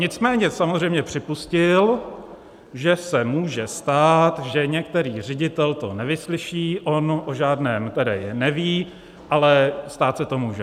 Nicméně samozřejmě připustil, že se může stát, že některý ředitel to nevyslyší - on o žádném tedy neví, ale stát se to může.